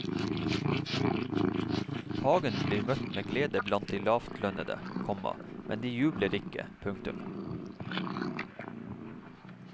Hagen blir møtt med glede blant de lavtlønnede, komma men de jubler ikke. punktum